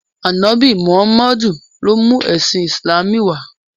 Ànọ́bì Mùhámádù ló mú ẹ̀sìn Ìsìlámù wá.